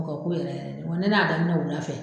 o ka k'u ye yɛrɛ yɛrɛ de wa ni ne y'a daminɛ wula fɛ.